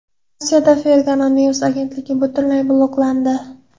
Rossiyada Fergana News agentligi butunlay bloklandi.